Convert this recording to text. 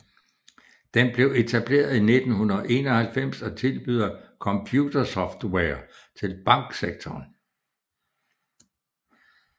Den blev etableret i 1991 og tilbyder computersoftware til banksektoren